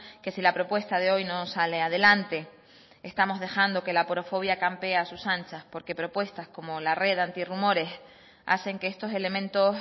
que si la propuesta de hoy no sale adelante estamos dejando que la aporofobia campee a sus anchas porque propuestas como la red anti rumores hacen que estos elementos